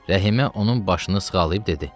Rəhimə onun başını sığalayıb dedi: